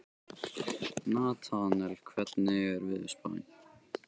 Natanael, hvernig er veðurspáin?